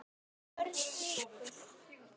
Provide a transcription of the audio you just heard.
BÖRN LÝKUR